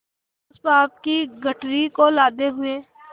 उस पाप की गठरी को लादे हुए